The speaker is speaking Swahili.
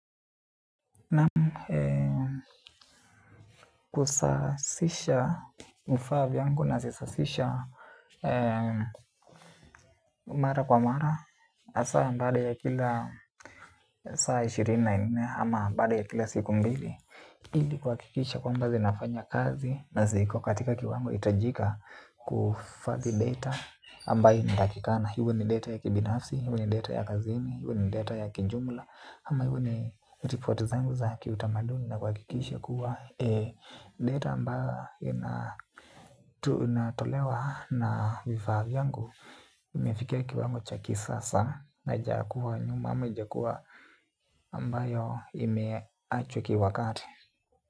Na kusasisha vifaa vyangu nazisasisha mara kwa mara. Asa baada ya kila saa ishirini na nne ama baada ya kila siku mbili. Ili kuhakikisha kwamba zinafanya kazi na ziko katika kiwango hitajika kuhifadhi data ambayo inatakikana, iwe ni data ya kibinafsi, iwe ni data ya kazini, iwe ni data ya kijumla ama ni report zangu za kiutamaduni na kuhakikisha kuwa data ambayo inatolewa na vifaa vyangu. Imefikia kiwango cha kisasa haija kuwa nyuma ama haijakuwa ambayo imeachwa kiwakati.